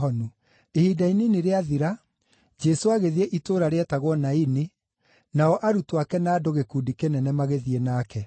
Ihinda inini rĩathira, Jesũ agĩthiĩ itũũra rĩetagwo Naini, nao arutwo ake na andũ gĩkundi kĩnene magĩthiĩ nake.